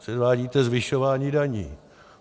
Předvádíte zvyšování daní.